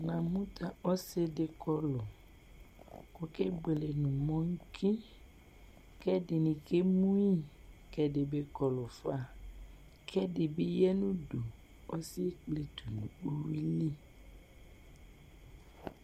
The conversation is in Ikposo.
Namʋ tʋ ɔsidi kɔlʋ kʋ ɔkebuele nʋ mɔki kʋ ɛdini kɛ mʋyi kʋ ɛdi bi kɔlʋfa kʋ ɛdibi yanʋ ʋdʋ ɔsi yɛ ekpletʋ nʋ uwili